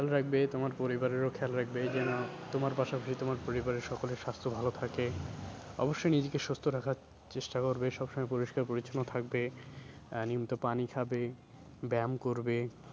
খেয়াল রাখবে তোমার পরিবারেরও খেয়াল রাখবে যেন তোমার পাশা পাশি তোমার পরিবারের সকলের স্বাস্থ্য ভালো থাকে, অব্যশই নিজেকে সুস্থ রাখার চেষ্টা করবে সবসময় পরিষ্কার পরিচ্ছন্ন থাকবে আহ নিয়মিত পানি খাবে ব্যায়াম করবে।